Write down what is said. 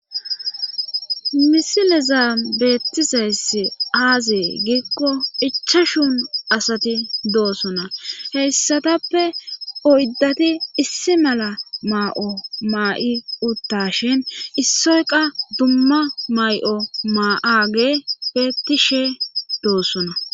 misilezaa beettizayssi aaze giikko ichashu asati doosona heyssatappe oyddati issi mala maa'o maa'i uttashin issoy qa dumma may'o maaage bettishe doossona